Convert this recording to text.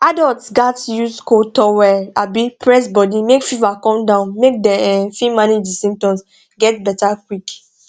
adults gatz use cold towel um press body make fever come down make dem um fit manage di symptoms get beta quick